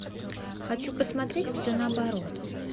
хочу посмотреть все наоборот